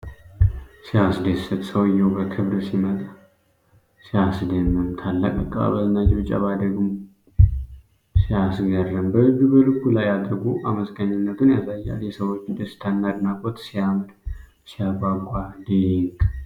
ሲያስደስት! ሰውዬው በክብር ሲመጣ ሲያስደምም! ታላቅ አቀባበልና ጭብጨባ ደግሞ ሲያስገርም! በእጁ በልቡ ላይ አድርጎ አመስጋኝነቱን ያሳያል። የሰዎቹ ደስታና አድናቆት ሲያምር! ሲያጓጓ! ድንቅ!